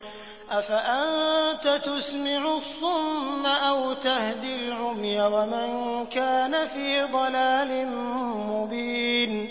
أَفَأَنتَ تُسْمِعُ الصُّمَّ أَوْ تَهْدِي الْعُمْيَ وَمَن كَانَ فِي ضَلَالٍ مُّبِينٍ